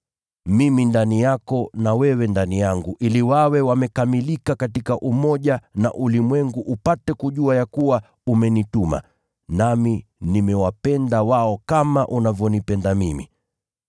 Mimi ndani yako na wewe ndani yangu, ili wawe wamekamilika katika umoja na ulimwengu upate kujua ya kuwa umenituma, nami nimewapenda wao kama unavyonipenda mimi.